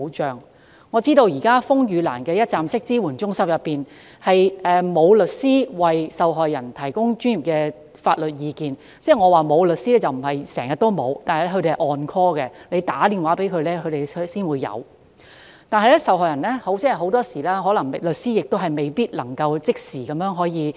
據我所知，現時風雨蘭的一站式支援中心並無律師為受害人提供專業法律意見，我的意思並不是說中心內整天均無律師在場，但律師只會奉召到場，以致很多時均無律師可即時現身協助受害人。